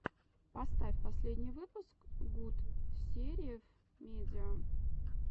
поставь последний выпуск гутсериев медиа